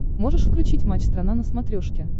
можешь включить матч страна на смотрешке